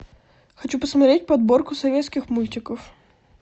хочу посмотреть подборку советских мультиков